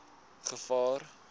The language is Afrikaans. gevaar